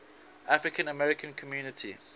african american community